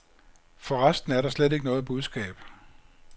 For resten er det slet ikke noget budskab.